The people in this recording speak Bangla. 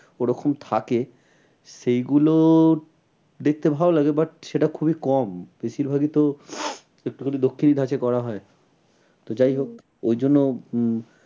ওরকম থাকে সেই গুলো দেখতে ভালো লাগে but সেটা খুবই কম। বেশির ভাগই তো একটুখানি দক্ষিণি ধাঁচে করা হয়। তো যাই হোক ওই জন্য উম